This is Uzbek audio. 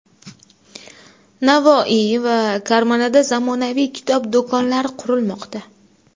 Navoiy va Karmanada zamonaviy kitob do‘konlari qurilmoqda.